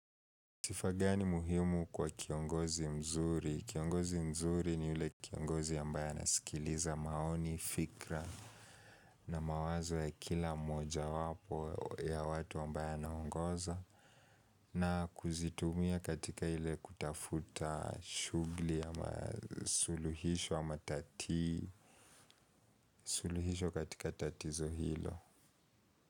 Sifa gani muhimu kwa kiongozi mzuri? Kiongozi mzuri ni ule kiongozi ambae anasikiliza maoni, fikra na mawazo ya kila mmoja wapo ya watu ambaye anaongoza na kuzitumia katika ile kutafuta shugli ama suluhisho ama tatii suluhisho katika tatizo hilo.